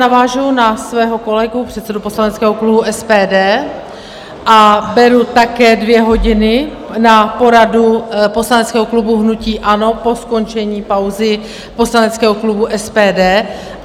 Navážu na svého kolegu předsedu poslaneckého klubu SPD a beru také dvě hodiny na poradu poslaneckého klubu hnutí ANO po skončení pauzy poslaneckého klubu SPD.